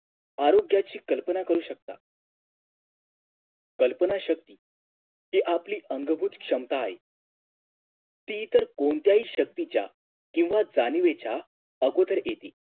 आरोग्याची कल्पना करू शकता कल्पनाशक्ती जी आपली अंगभूत क्षमता आहे ती इतर कोणत्याही शक्तीच्या किव्हा जाणिवेच्या आगोदर येते